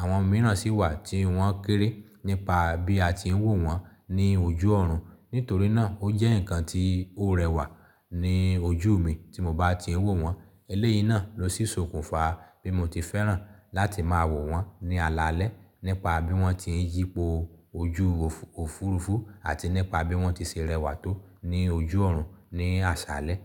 àwọn mìíràn sì wà tí wọ́n kéré nípa bí a ti ń wò wọ́n ní ojú ọ̀run. Nítorí náà ó jẹ́ ǹkan tí ó rẹwà ní ojú mi tí mo bá ti ń wò wọ́n. Eléyìí náà ló sì sokùnfa bí mo ti fẹ́ràn láti máa wò wọ́n ní alalẹ́ nípa bí wọ́n ti ń yípo ojú òfuurufú àti nípa bí wọ́n ti ṣe rẹwà tó ní ojú ọ̀run ní àsálẹ́.